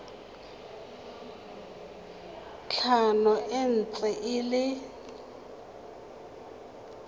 tlhano e ntse e le